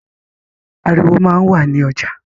Ariwo máa ń wà ní ọjà